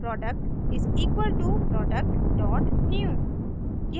product = productnew